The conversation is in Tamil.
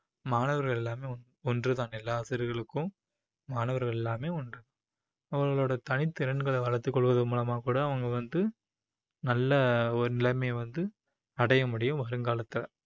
மாணவர்கள் எல்லாமே ஒன்றுதான் எல்லா ஆசிரியர்களுக்கும் மாணவர்கள் எல்லாமே ஒன்று அவர்களோட தனித்திறன்களை வளர்த்துக் கொள்வதன் மூலமா கூட அவங்க வந்து நல்ல ஒரு நிலைமையை வந்து அடைய முடியும் வருங்காலத்துல